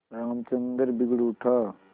रामचंद्र बिगड़ उठा